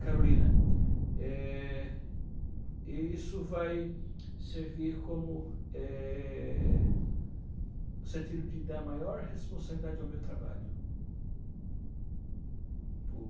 Carolina, eh, isso vai servir como, eh, sentido de dar maior responsabilidade ao meu trabalho